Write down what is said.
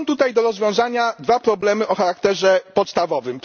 Są tutaj do rozwiązania dwa problemy o charakterze podstawowym.